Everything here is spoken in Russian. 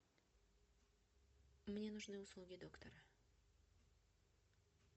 мне нужны услуги доктора